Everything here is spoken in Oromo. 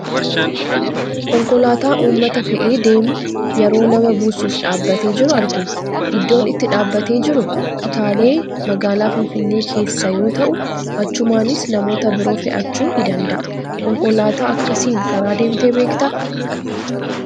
Konkolaataa uummata fe'ee deemu yeroo nama buusuuf dhaabbatee jiru argina. Iddoon itti dhaabbatee jiru kutaalaa magaala finfinnee keessaa yoo ta'u, achumaanis namoota biroo fe'achuu ni danda'a. Konkolaataa akkasiin karaa deemtee beektaa?